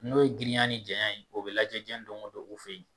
N'o ye girinya ni janya ye, o bi lajɛ jɛn don o don u fɛ yen